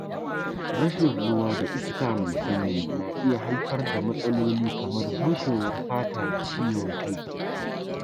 Rashin ruwa da iska mai sanyi na iya haifar da matsaloli kamar bushewar fata da ciwon kai.